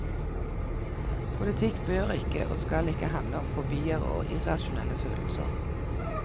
Politikk bør ikke og skal ikke handle om fobier og irrasjonelle følelser.